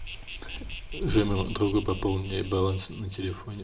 джой моему другу пополни баланс на телефоне